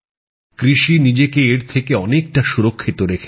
কৃষি নিজেকে এর থেকে অনেকটা সুরক্ষিত রেখেছে